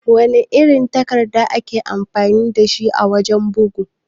Wana irin takarda ake amfani dashi a wajan bugu?